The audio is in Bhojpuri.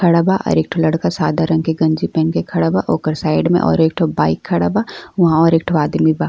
खड़ा बा और एक ठो लड़का सादा रंग के गंजी पहन के खड़ा बा। ओकर साइड में एक ठो बाइक खड़ा बा। उहाँ और एक ठो आदमी बा।